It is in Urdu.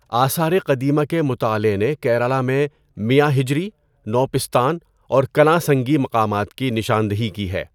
آثار قدیمہ کے مطالعے نے کیرالہ میں میاں حجری، نو پستان اور کلاں سنگی مقامات کی نشاندہی کی ہے۔